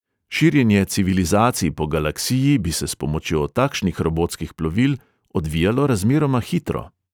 Širjenje civilizacij po galaksiji bi se s pomočjo takšnih robotskih plovil odvijalo razmeroma hitro.